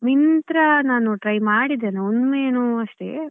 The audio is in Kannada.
Myntra ನಾನು try ಮಾಡಿದ್ದೇನೆ ಒಮ್ಮೆನೋ ಅಷ್ಟೇ.